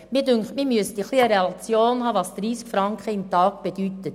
Es ist wichtig eine Relation zu haben, was denn eigentlich 30 Franken pro Tag bedeuten.